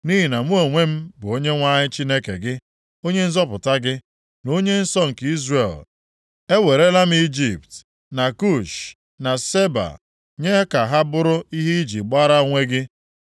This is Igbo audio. Nʼihi na mụ onwe m bụ Onyenwe anyị Chineke gị, Onye nzọpụta gị, na Onye nsọ nke Izrel. Ewerela m Ijipt na Kush na Seba nye ka ha bụrụ ihe i ji gbara onwe gị.